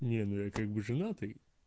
не ну я как бы женатый